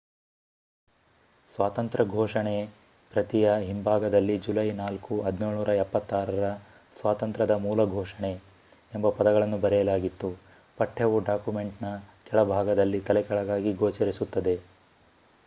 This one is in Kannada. ಸ್ವಾತಂತ್ರ್ಯ ಘೋಷಣೆ ಪ್ರತಿಯ ಹಿಂಭಾಗದಲ್ಲಿ ಜುಲೈ 4 1776 ರ ಸ್ವಾತಂತ್ರ್ಯದ ಮೂಲ ಘೋಷಣೆ ಎಂಬ ಪದಗಳನ್ನು ಬರೆಯಲಾಗಿತ್ತು. ಪಠ್ಯವು ಡಾಕ್ಯುಮೆಂಟ್‌ನ ಕೆಳಭಾಗದಲ್ಲಿ ತಲೆಕೆಳಗಾಗಿ ಗೋಚರಿಸುತ್ತದೆ